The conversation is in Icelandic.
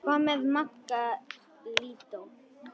Hvað með Magga lúdó?